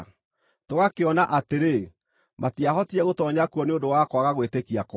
Tũgakĩona atĩrĩ, matiahotire gũtoonya kuo nĩ ũndũ wa kwaga gwĩtĩkia kwao.